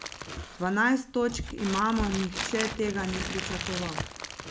Dvanajst točk imamo, nihče tega ni pričakoval.